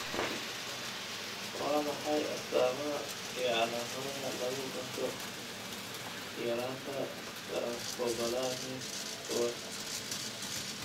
Waa maxay astamaha iyo calaamadaha lagu garto yaraanta Transcobalamin kowaad?